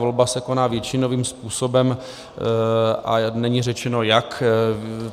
Volba se koná většinovým způsobem a není řečeno jak.